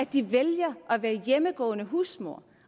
de vælger at være hjemmegående husmødre